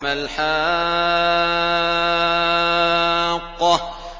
مَا الْحَاقَّةُ